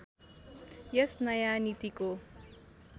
यस नयाँ नीतिको